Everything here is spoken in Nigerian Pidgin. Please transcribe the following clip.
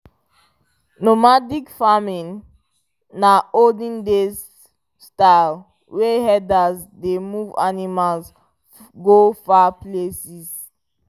normadic farming na olden days style wey herders dey move animals go far places